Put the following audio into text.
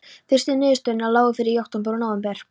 Fyrstu niðurstöðurnar lágu fyrir í október og nóvember.